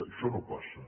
això no passa